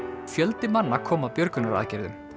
fjöldi manna kom að björgunaraðgerðum